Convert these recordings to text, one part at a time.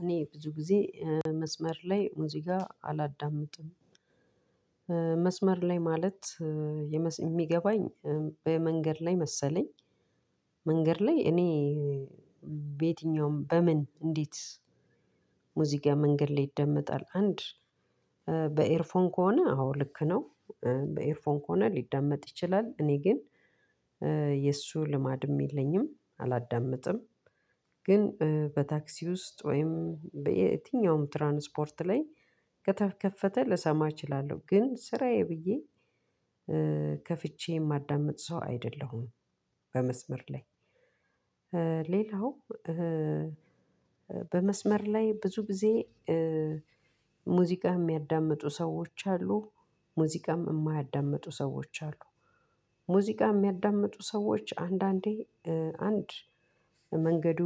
እኔ ብዙ ጊዜ መስመር ላይ እዚህ ጋር አላዳምጥም። መስመር ላይ ማለት እምገባኝ በ መንገድ ላይ መሰለኝ። መንገድ ላይ እኔ በየትኛውም በምን እንዴት? ሙዚቃ መንገድ ላይ ይደመጣል አንድ በኤርፎን ከሆነ አዎ ልክ ነው። በኤርፎን ከሆነ ሊደመጥ ይችላል እኔ ግን የእሱ ልማድም የለኝም አላዳምጥም። ግን በ ታክሲ ውስጥ ወይም የትኛውም ትራንስፖርት ላይ ከተከፈተ ልሰማ እችላለሁ ግን ስራዬ ብዬ ከፈቸ የማዳምጥ ሰው አይደለሁም። በመስመር ላይ። ሌላው በመስመር ላይ ብዙ ጊዜ ሙዚቃ የሚያዳምጡ ሰዎች አሉ ሙዚቃ እማያዳምጡ ሰወች አሉ። ሙዚቃ እምያዳምጡ ሰውች አሉ አንዳንዴ አንድ መንገዱ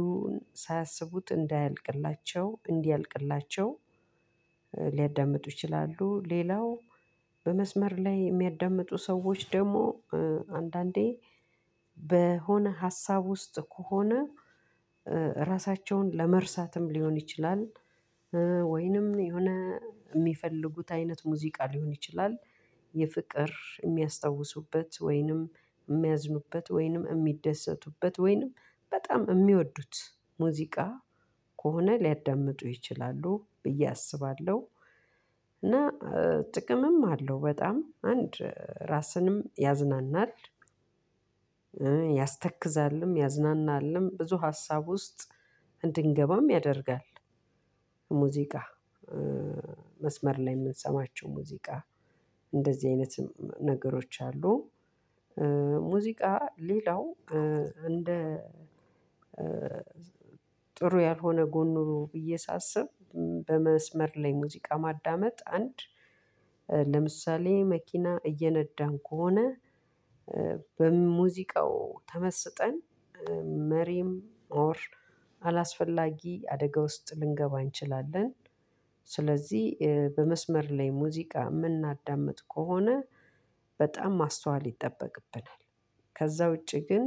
ሳያስቡት እንዳያልቅላቸው እንዲያልቅክላቸው ሊያዳምጡ ይችላሉ። ሌላው በመስመር ላይ የሚያዳምጡ ሰዎች ደግሞ አንዳንዴ በሆነ ሀሳብ ውስጥ ከሆነ እራሳቸውን ለመርሳትም ሊሆን ይቻላል። ወይንም የሆነ የሚፈልጉት አይነት ሙዚቃ ሊሆን ይችላል የፍቅር የሚያስታውሱበት ወይንም የሚያዝኑበት ወይንም የሚደሰቱበት ወይንም በጣም የሚወዱት ሙዚቃ ከሆነ ሊያዳምጡ ይችላሉ ብዬ አስባለሁ። እና ጥቅምም አለው በጣም አንድ እራስንም ያዝናናል ያስተክዛልም ያዝናናልም ብዙ ሀሳብ ውስጥ እንድንገባም ያደርጋል። ሙዚቃ መስመር ላይ የምንሰማቸው ሙዚቃ እንድዚህ አይነት ነገሮች አሉ። ሙዚቃ ሌላው እንደ ጥሩ ያልሆነ ጎኑ ብዬ ሳስብ በመስመር ላይ ሙዚቃ ማዳመጥ አንድ ለምሳሌ መኪና እየነዳን ከሆነ በሙዚቃው ተመስጠን መሪም አላስፈላጊ አደጋ ውስጥ ልንገባ እንችላለን። ስለዚህ በመስመር ላይ ሙዚቃ የምናዳምጥ ከሆነ በጣም ማስተዋል ይጠበቅብናል። ከዛ ውጪ ግን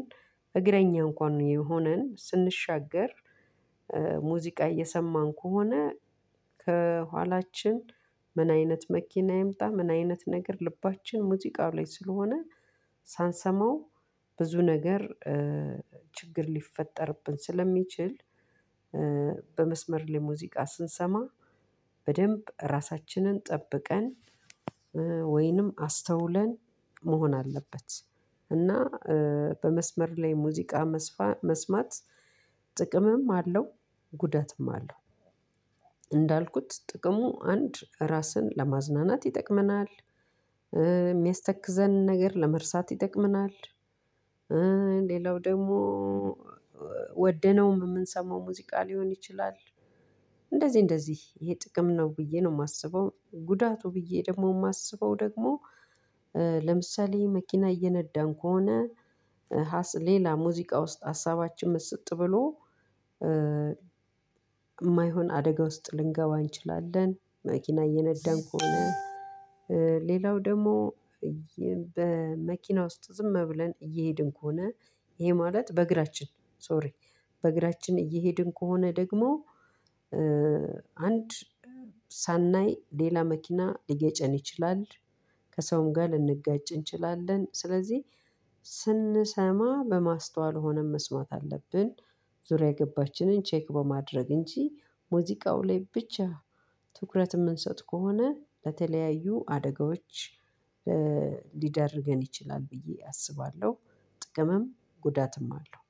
እግረኛ እንኳን የሆነን ስንሻገር ሙዚቃ እየሰማን ከሆነ ከኋላችን ምን አይነት መኪና ይምጣ ምን አይነት ነገር ልባችን ሙዚቃው ላይ ስለሆነ ሳንሰማው ብዙ ነገር ችግር ሊፈጠርብን ስለሚችል። በመስመር ላይ ሙዚቃ ስንሰማ በደንብ ራሳችንን ጠብቀን ወይንም አስተውለን መሆን አለበት። እና በመስመር ላይ ሙዚቃ መስማት ጥቅምም አለው ጉዳትም አለው። እንዳልኩት ጥቅሙ አንድ ራስን ለማዝናናት ይጠቅመናል። የሚያስተክዘን ነገር ለመርሳት ይጠቅመናል። ሌላው ደግሞ ወደነው የምንሰማው ሙዚቃ ሊሆን ይችላል። እንደዚህ እንደዚህ ይሄ ጥቅም ነው ብዬ ነው የማስበው። ጉዳቱ ብዬ ደግሞ የማስበው ደግሞ ለምሳሌ መኪና እየነዳን ከሆነ ሌላ ሙዚቃ ውስጥ ሀሳባችን ምስጥ ብሎ የማይሆን አደጋ ውስጥ ልንገባ እንችላለን። መኪና እየነዳን ከሆነ ሌላው ደግሞ በመኪና ውስጥ ዝም ብለን እየሄድን ከሆነ ይሄ ማለት በእግራችን ሶሪ በእግራችን እየሄድን ከሆነ ደግሞ። አንድ ሳናይ ሌላ መኪና ሊገጨን ይችላል። ከሰውም ጋር ልንጋጭ እንችላለን ስለዚህ ስንሰማ በማስተዋል ሆነን መስማት አለብን። ዙሪያ ገባችንን ቼክ በማድረግ እንጂ ሙዚቃው ላይ ብቻ ትኩረት የምንሰጥ ከሆነ ለተለያዩ አደጋዎች ልዳርግን ይቻላል ብዬ አስባለሁ። ጥቅምም ጉዳትም አለው።